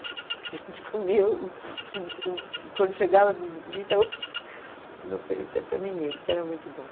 A gente comia, o o quando chegava a visita, ops não oferecia para ninguém, porque era muito bom.